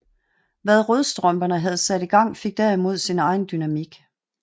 Hvad Rødstrømperne havde sat i gang fik derimod sin egen dynamik